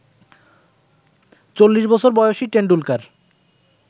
চল্লিশবছর বয়সী টেন্ডুলকার